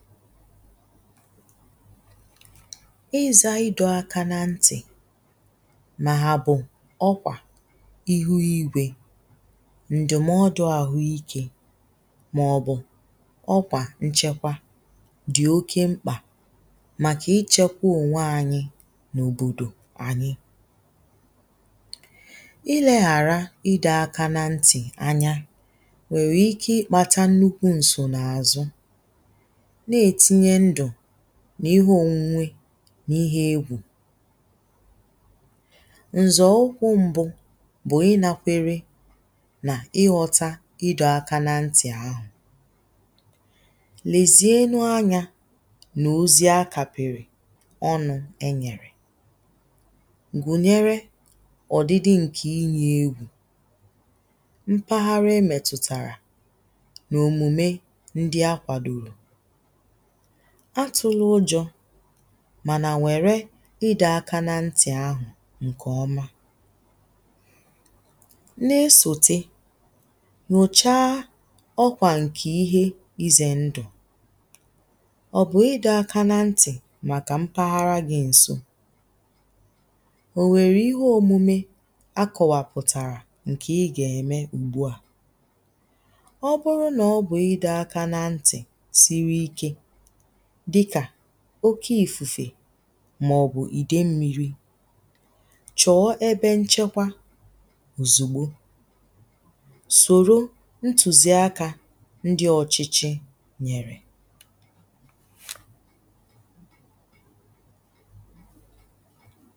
izȧ idụ̇ aka nà ntì mà hà bụ̀ ọkwà ihu igwė ǹdụ̀mọdụ àhụ ikė màọ̀bụ̀ ọkwà nchekwa dì oke mkpà màkà ichėkwȧ ònwe anyi nà òbòdò anyi ilė àra idụ̇ aka nà ntì anya nwèrè ike ikpata nnukwu̇ ǹsò nà àzụ n’ihe ònwunwe n’ihe ewu̇ ǹzọ̀ ụkwụ̇ mbụ̇ bụ̀ ịnakwere nà ighọta idọ̇aka nà ntì ahụ̀ lezie elu anyȧ nà ozi a kapịrị̀ ọnụ̇ e nyèrè gùnyere ọ̀dịdị ǹkè inye ewu̇ mpaghara e mètùtàrà nà òmùme ndi a kwàdòrò atụlụ ụjọ̇ mànà nwère ịdọ̇ aka nà ntì ahụ̀ ǹkè ọma na-esòte nà-èso nyòchaa ọkwà ǹkè ihe izè ndụ̀ ọ̀ bụ̀ ịdọ̇ aka nà ntì màkà mpaghara gị ǹso ònwèrè ihe òmume a kọwapụ̀tàrà ǹkè ị gà-eme ugbuà ọ bụrụ nà ọ bụ̀ ịdọ̇ aka nà ntì siri ike oke ìfùfè màọ̀bụ̀ ìdè mmiri chọ̀ọ ebe nchekwa òzùgbo sòro ntùzi akȧ ndi ọ̀chịchị nyèrè